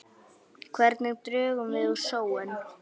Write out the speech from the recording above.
Hvernig drögum við úr sóun?